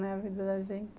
A vida da gente.